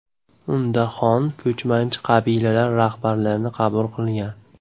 Unda xon ko‘chmanchi qabilalar rahbarlarini qabul qilgan.